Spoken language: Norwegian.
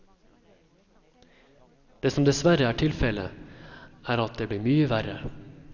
Det som dessverre er tilfelle, er at det blir mye verre.